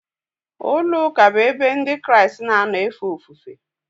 Ụlọụka bụ ebe Ndị Kraịst na-anọ efe ofufe.